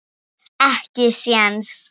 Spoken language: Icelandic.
Ekki séns.